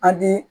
A di